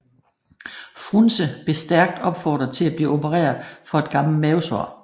Frunze blev stærkt opfordret til at blive opereret for et gammelt mavesår